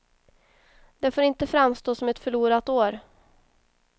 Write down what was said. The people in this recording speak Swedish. Det får inte framstå som ett förlorat år.